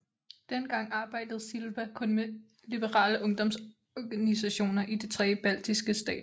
Dengang arbejdede Silba kun med liberale ungdomsorganisationer i de tre baltiske stater